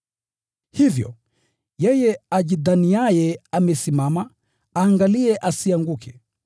Hivyo, yeye ajidhaniaye amesimama, aangalie asianguke.